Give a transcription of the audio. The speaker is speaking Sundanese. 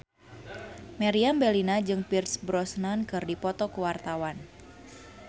Meriam Bellina jeung Pierce Brosnan keur dipoto ku wartawan